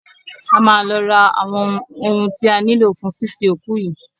A máa lọ ra àwọn ohun ti a nílò fún sínsin òkú yìí.